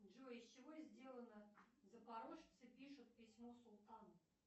джой из чего сделано запорожцы пишут письмо султану